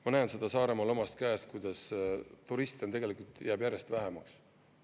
Ma näen seda Saaremaal omast käest, kuidas turiste tegelikult jääb järjest vähemaks.